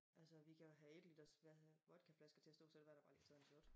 Altså vi kan jo have 1 liters hvad hedder vodkaflasker til at stå så var der bare lige taget en shot